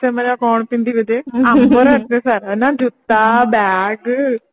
ସେମାନେ କଣ ପିନ୍ଧିବେ ଯେ ଆମର ଏତେ ସାରା ନା ଜୁତା bag